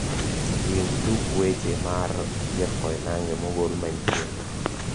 winj tuk wech mar jeff koinange mogol manyien